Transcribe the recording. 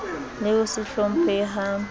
le ho se hlomphehe ha